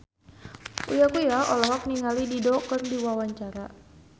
Uya Kuya olohok ningali Dido keur diwawancara